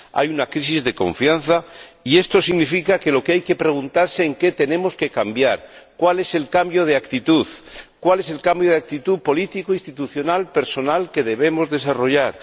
Hay una crisis de confianza y esto significa que lo que hay preguntarse es en qué tenemos que cambiar, cuál es el cambio de actitud, cuál es el cambio de actitud política, institucional, personal, que debemos desarrollar.